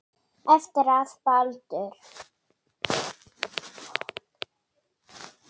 En eftir að Baldur.